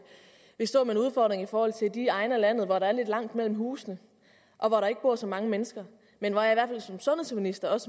står med en udfordring i forhold til de egne af landet hvor der er lidt langt mellem husene og hvor der ikke bor så mange mennesker men som sundhedsminister